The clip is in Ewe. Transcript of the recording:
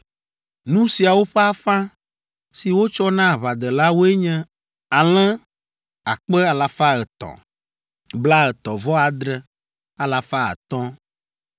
Nu siawo ƒe afã, si wotsɔ na aʋadelawoe nye: alẽ akpe alafa etɔ̃, blaetɔ̃-vɔ-adre alafa atɔ̃ (337,500),